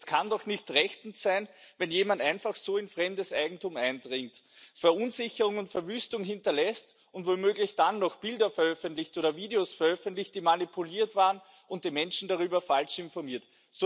Es kann doch nicht rechtens sein, wenn jemand einfach so in fremdes Eigentum eindringt, Verunsicherung und Verwüstung hinterlässt und womöglich dann noch Bilder oder Videos veröffentlicht, die manipuliert waren, und die Menschen darüber falsch informiert.